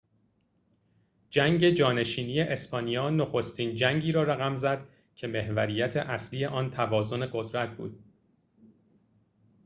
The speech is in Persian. جنگ جانشینی اسپانیا نخستین جنگی را رقم زد که محوریت اصلی آن توازن قدرت بود